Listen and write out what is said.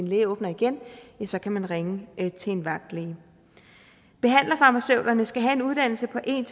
læge åbner igen ja så kan man ringe til en vagtlæge behandlerfarmaceuterne skal have en uddannelse på en